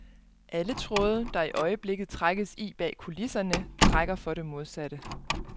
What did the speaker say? Alle tråde, der i øjeblikket trækkes i bag kulisserne, trækker for det modsatte.